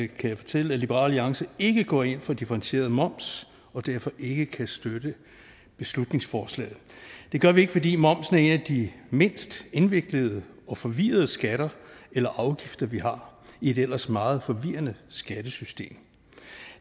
kan jeg fortælle at liberal alliance ikke går ind for differentieret moms og derfor ikke kan støtte beslutningsforslaget det gør vi ikke fordi momsen er en af de mindst indviklede og forvirrende skatter eller afgifter vi har i et ellers meget forvirrende skattesystem